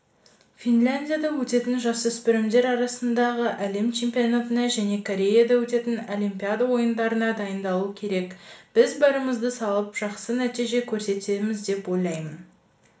финляндияда өтетін жасөспірімдер арасындағы әлем чемпионатына және кореяда өтетін олимпиада ойындарына дайындалу керек біз барымызды салып жақсы нәтиже көрсетеміз деп ойлаймын